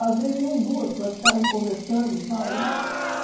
Às vezes, iam duas para ficarem conversando e tal, né?